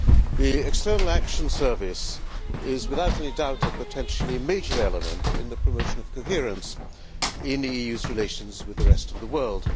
The External Action Service is, without any doubt, a potentially major element in the promotion of coherence in the EU's relations with the rest of the world.